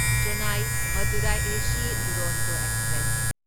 Chennai Madurai AC Duronto express